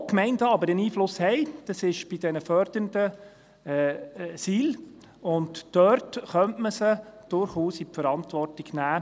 Wo die Gemeinden aber einen Einfluss haben, das ist bei den fördernden Situationsbedingten Leistungen, und dort könnte man sie durchaus in die Verantwortung nehmen.